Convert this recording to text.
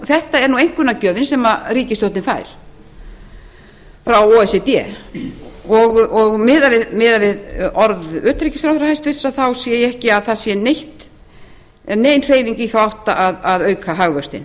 þetta er einkunnagjöfin sem ríkisstjórnin fær frá o e c d og miðað við orð hæstvirts utanríkisráðherra sé ég ekki að það sé nein hreyfing í þá átt að auka hagvöxtinn